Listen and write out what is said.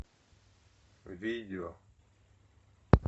видео